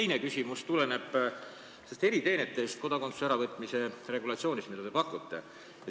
Minu teine küsimus tuleneb eriteenete alusel saadud kodakondsuse äravõtmise regulatsioonist, mida te pakute.